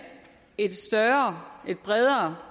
et større og bredere